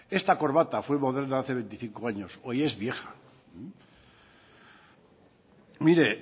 esta corbata fue moderna hace veinticinco años hoy es vieja mire